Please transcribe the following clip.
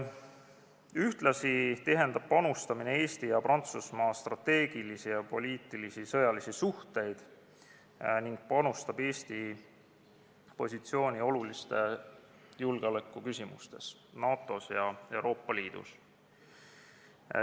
Ühtlasi tihendab panustamine Eesti ja Prantsusmaa strateegilisi, poliitilisi ja sõjalisi suhteid ning tugevdab Eesti positsiooni olulistes julgeolekuküsimustes NATO-s ja Euroopa Liidus.